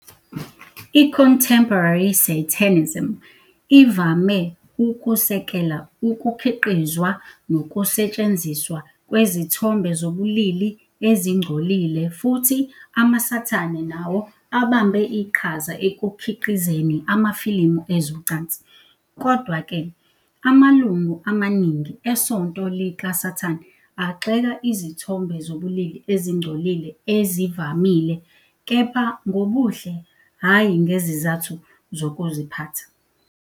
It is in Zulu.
I-Contemporary Satanism ivame ukusekela ukukhiqizwa nokusetshenziswa kwezithombe zobulili ezingcolile, futhi amaSathane nawo abambe iqhaza ekukhiqizeni amafilimu ezocansi. Kodwa-ke, amalungu amaningi eSonto likaSathane agxeka izithombe zobulili ezingcolile ezivamile, kepha ngobuhle hhayi ngezizathu zokuziphatha.